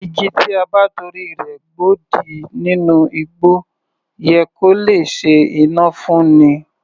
Igi tí a bá torí rẹ̀ gbodì nínú igbó yẹ kó lè ṣe iná fún'ni yá